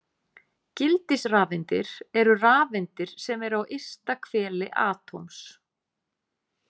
Gildisrafeindir eru rafeindir sem eru á ysta hveli atóms